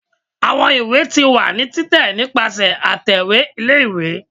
awọn ìwé ti wa ni titẹ nipasẹ atẹwe ìlé-ìwé